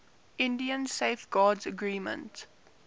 india safeguards agreement